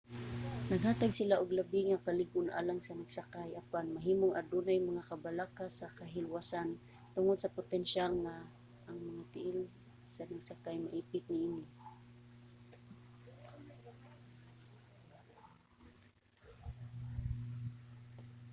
naghatag sila og labi nga kalig-on alang sa nagsakay apan mahimong adunay mga kabalaka sa kahilwasan tungod sa potensyal nga ang mga tiil sa nagsakay maipit niini